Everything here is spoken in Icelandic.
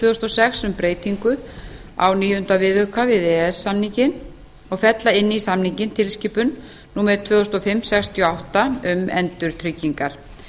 þúsund og sex um breytingu á níunda viðauka við e e s samninginn og fella inn í samninginn tilskipun númer tvö þúsund og fimm sextíu og átta e b um endurtryggingar